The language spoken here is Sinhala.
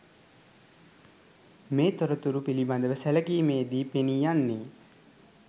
මේ තොරතුරු පිළිබඳව සැලකීමේදී පෙනී යන්නේ